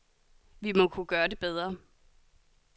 Vi må kunne gøre det bedre.